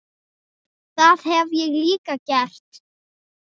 Það hef ég líka gert.